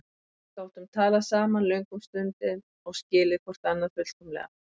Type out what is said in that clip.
Við gátum talað saman löngum stundum og skilið hvort annað fullkomlega.